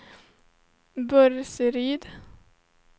Burseryd